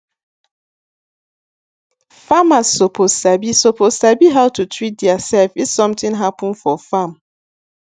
farmers suppose sabi suppose sabi how to treat theirself if something happen for farm